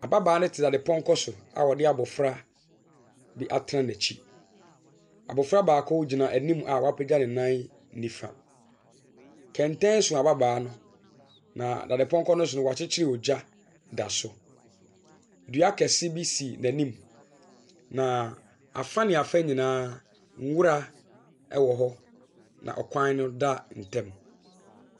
Ababaawa no tena pɔnkɔ so a ɔde abofra bi atena n'akyi. Abofra baako gyina anim a wapegya ne nan nifa. Kɛntɛn so ababaa no. Na dade pɔnkɔ no so no, wɔakyekyere ogya da so. Dua kɛse bi si n'anim na afa ne afa nyinaa nwura ɛwɔ hɔ. Na kwan da ntam.